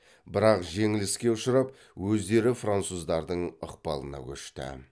бірақ жеңіліске ұшырап өздері француздардың ықпалына көшті